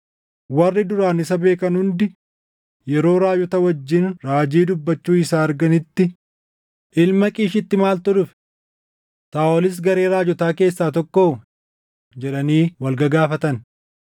Warri duraan isa beekan hundi yeroo raajota wajjin raajii dubbachuu isaa arganitti, “Ilma Qiishiitti maaltu dhufe? Saaʼolis garee raajotaa keessaa tokkoo?” jedhanii wal gagaafatan.